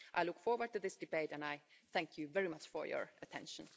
I look forward to this debate and I thank you very much for your attention.